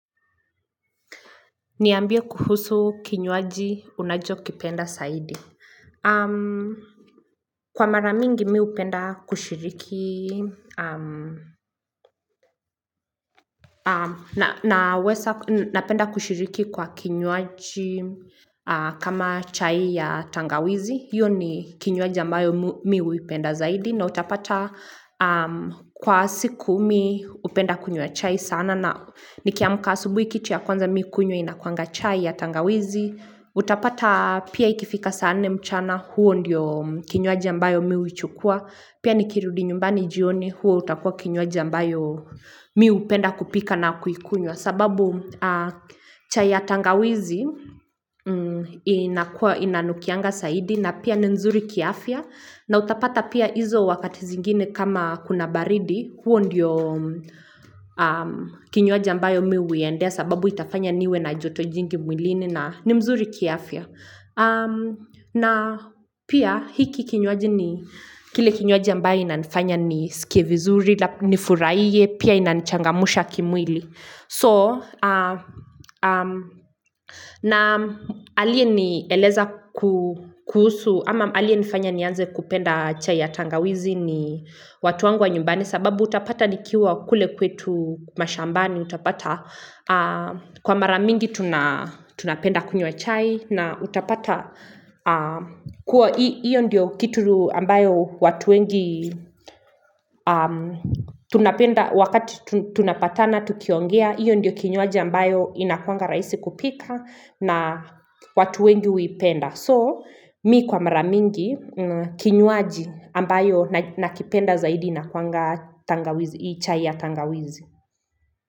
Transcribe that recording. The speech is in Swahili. Niambie kuhusu kinywaji unacho kipenda saidi. Kwa maramingi mi upenda kushiriki. Na penda kushiriki kwa kinywaji kama chai ya tangawizi. Hiyo ni kinywaji ambayo mi upenda zaidi. Na utapata kwa siku mi upenda kunywa ya chai sana. Nikiamka asubuhi kiti ya kwanza mi kunywa inakuanga chai ya tangawizi. Utapata pia ikifika saa nne mchana huo ndiyo kinywaji ambayo miu uchukua pia ni kirudi nyumbani jioni huo utakua kinywaji ambayo miu upenda kupika na kuikunywa sababu chai ya tangawizi inanukianga saidi na pia ni nzuri kiafia na utapata pia izo wakati zingine kama kuna baridi huo ndiyo kinywaji ambayo miu uendea sababu itafanya niwe na joto jingi mwilini ni mzuri kiafia na pia hiki kinywaji ni kile kinywaji ambaye ina nifanya ni sikie vizuri Nifuraiye pia inanichangamusha kimwili So na alie ni eleza kuhusu ama alie nifanya ni anze kupenda chai ya tangawizi ni watu wangu wa nyumbani sababu utapata nikiwa kule kwetu mashambani utapata Kwa maramingi tuna tunapenda kunywa chai na utapata Kwa hiyo ndiyo kitu ambayo watu wengi Tunapenda wakati tunapatana tukiongea hiyo ndiyo kinywaji ambayo inakuanga raisi kupika na watu wengi uipenda So mi kwa maramingi kinywaji ambayo nakipenda zaidi Inakuanga chai ya tangawizi.